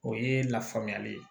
O ye lafaamuyali ye